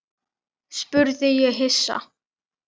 spurði ég hissa.